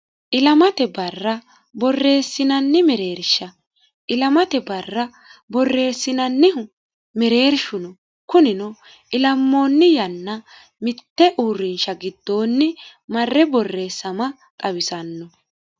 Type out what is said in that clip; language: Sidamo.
ilamate barra borreessinanni mereersha ilamate barra borreessinannihu mereershuno kunino ilammoonni yanna mitte uurrinsha giddoonni marre borreessama xawisanno